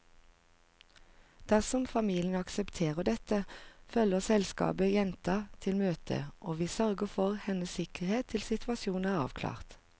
Dersom familien aksepterer dette, følger selskapet jenta til møtet, og vi sørger for hennes sikkerhet til situasjonen er avklart.